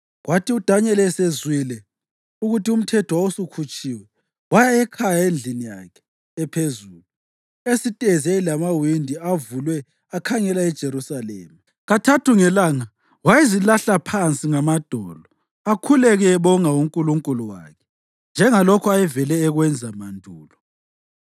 Kwathi uDanyeli esezwile ukuthi umthetho wawusukhutshiwe, waya ekhaya endlini yakhe ephezulu esitezi eyayilamawindi avulwe akhangela eJerusalema. Kathathu ngelanga wayezilahla phansi ngamadolo akhuleke, ebonga uNkulunkulu wakhe, njengalokho ayevele ekwenza mandulo.